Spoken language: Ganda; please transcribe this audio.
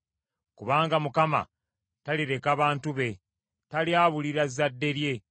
Kubanga Mukama talireka bantu be; talyabulira zzadde lye.